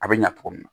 A bɛ ɲa cogo min na